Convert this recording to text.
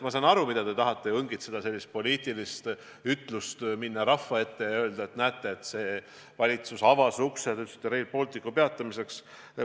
Ma saan aru, et te tahate siit õngitseda sellist poliitilist ütlust, minna rahva ette ja öelda, et näete, see valitsus avas ukse – nagu te ütlesite – Rail Balticu peatamiseks.